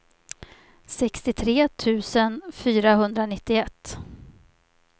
sextiotre tusen fyrahundranittioett